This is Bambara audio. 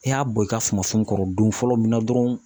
I y'a bɔn i ka sumasun kɔrɔ don fɔlɔ min na dɔrɔn